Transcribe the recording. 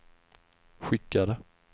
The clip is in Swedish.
skickade